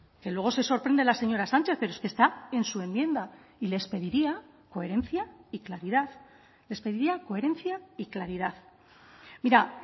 que luego se sorprende la señora sánchez pero es que está en su enmienda y les pediría coherencia y claridad les pediría coherencia y claridad mira